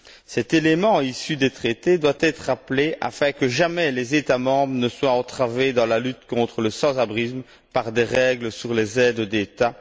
Cet élément issu des traités doit être rappelé afin que jamais les États membres ne soient entravés dans la lutte contre le sans abrisme par des règles sur les aides d'État.